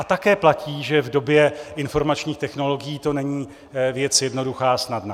A také platí, že v době informačních technologií to není věc jednoduchá a snadná.